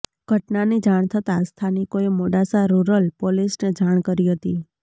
ઘટનાની જાણ થતાં સ્થાનિકોએ મોડાસા રૂરલ પોલીસને જાણ કરી હતી